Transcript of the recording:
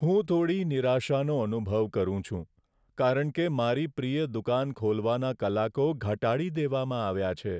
હું થોડી નિરાશાનો અનુભવ કરું છું, કારણ કે મારી પ્રિય દુકાન ખોલવાના કલાકો ઘટાડી દેવામાં આવ્યા છે.